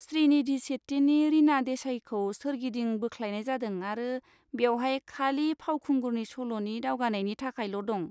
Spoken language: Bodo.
श्रीनिधि शेट्टीनि रीना देसाईखौ सोरगिदिं बोख्लायनाय जादों आरो बेवहाय खालि फावखुंगुरनि सल'नि दावगानायनि थाखायल' दं।